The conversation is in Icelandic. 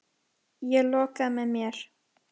Ég loka að mér.